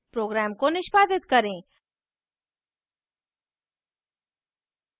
program को निष्पादित करें